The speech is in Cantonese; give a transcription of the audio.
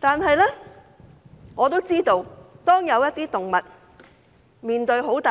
然而，我知道有些動物嚴重